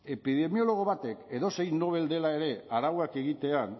epidemiólogo batek edozein nobel dela ere arauak egitean